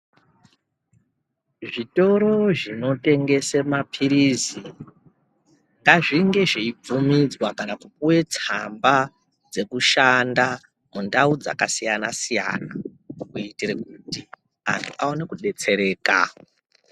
Zvitoro zvinotengese mapirizi ngazvinge zveibvumidzwa kana kupuwe tsamba dzekushanda mundau dzakasiyana siyana kuitire kuti antu aone kudetsereka.